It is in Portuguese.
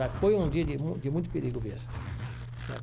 Mas foi um dia de mu de muito perigo mesmo né.